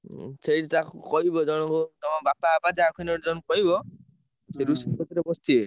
ହୁଁ ସେଇଠି ତାଙ୍କୁ କହିବ ଜଣଙ୍କୁ ତମ ବାପା ଫାପା ଯାହାକୁ ହେଲେ ଜଣେ କହିବ ସେ ରୋଷେଇ କତିରେ ବସିବେ।